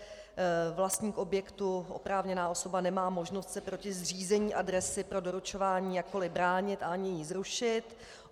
Vlastník objektu, oprávněná osoba, nemá možnost se proti zřízení adresy pro doručování jakkoli bránit a ani ji zrušit.